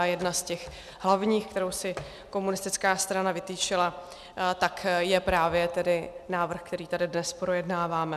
A jedna z těch hlavních, kterou si komunistická strana vytyčila, tak je právě tedy návrh, který tady dnes projednáváme.